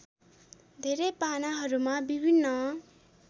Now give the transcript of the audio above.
धेरै पानाहरूमा विभिन्न